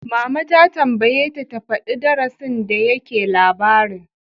Mama ta tambayeta ta faɗi darasin da yake labarin!